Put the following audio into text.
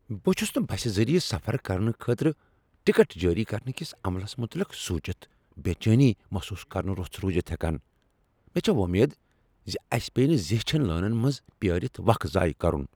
بہٕ چھس نہٕ بسہٕ ذریعہٕ سفر کرنہٕ خٲطرٕ ٹکٹ جٲری کرنہٕ کس عملس متعلق سوچتھ بےچینی محسوس کرنہ رُس روزتھ ہیکان، مےٚ چھےٚ وۄمید زِ اسہِ پیٚیہ نہٕ زیچھن لٲنن منٛز پیٲرتھ وق ضایع کرن۔